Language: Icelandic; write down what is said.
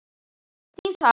Þín Salvör.